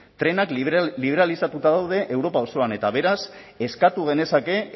trenak liberalizatuta daude europa osoan eta beraz eskatu genezake